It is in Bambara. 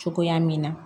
Cogoya min na